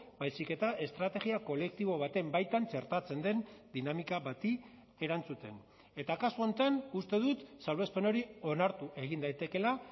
baizik eta estrategia kolektibo baten baitan txertatzen den dinamika bati erantzuten eta kasu honetan uste dut salbuespen hori onartu egin daitekeela